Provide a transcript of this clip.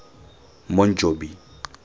monjobi